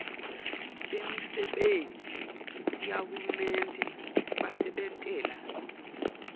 bemisebenti yahulumende basebentela